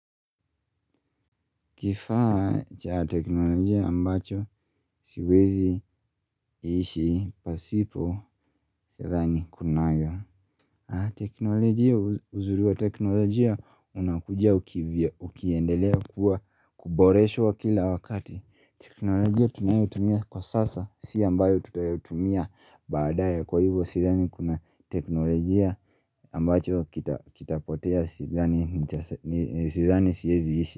Kifaa cha teknolojia ambacho siwezi ishi pasipo sidhani kunayo teknolojia uzuriwa teknolojia unakujia ukiendelea kuwa kuboreshwa kila wakati teknolojia tunayotumia kwa sasa si ambayo tutayotumia badaya kwa hivyo sadhani kuna teknolojia ambacho kitapotea sidhani siyezi ishi.